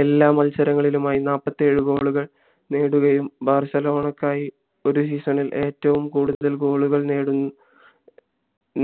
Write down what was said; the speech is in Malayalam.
എല്ലാ മത്സരങ്ങളിലുമായി നാല്പത്തി ഏഴ് goal കൾ നേടുകയും ബാർസിലോണക്കായി ഒരു season ഇൽ ഏറ്റവും കൂടുതൽ goal നേടുക